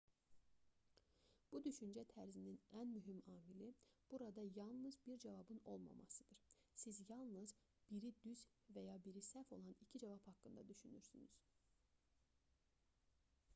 bu düşüncə tərzinin ən mühüm amili burada yalnız bir cavabın olmasındadır siz yalnız biri düz və ya biri səhv olan iki cavab haqqında düşünürsünüz